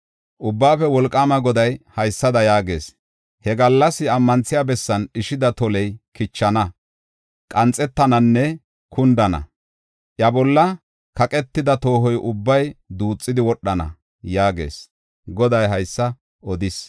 Ubbaafe Wolqaama Goday haysada yaagees: “He gallas ammanthiya bessan dhishida toley kichana; qanxettananne kundana. Iya bolla kaqetida tooho ubbay duuxidi wodhana” yaagees. Goday haysa odis.